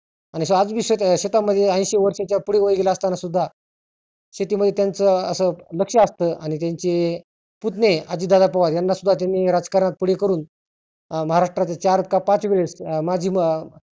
आणि आज बी शेता शेता मध्ये ऐंशी वर्षाच्या पुढे वय गेले असताना सुद्धा शेतीमध्ये त्यांच असं लक्ष असतं आणि त्यांचे पुत्ने आजित दादा पवार यानी सुद्धा राजकारणात पुढे करुण महाराष्ट्रात चार का पाच वेळेस माजी